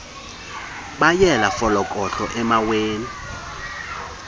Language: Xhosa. beyela folokohlo emaweni